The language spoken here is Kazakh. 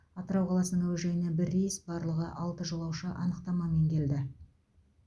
атырау қаласының әуежайына бір рейс барлығы алты жолаушы анықтамамен келді